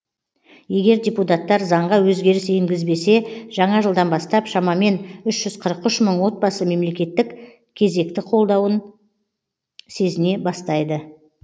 егер депутаттар заңға өзгеріс енгізбесе жаңа жылдан бастап шамамен үш жүз қырық үш мың отбасы мемлекеттік кезекті қолдауын сезіне бастайды